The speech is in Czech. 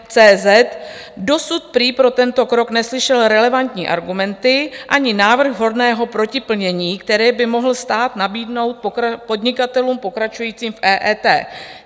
cz: Dosud prý pro tento krok neslyšel relevantní argumenty ani návrh vhodného protiplnění, které by mohl stát nabídnout podnikatelům pokračujícím v EET.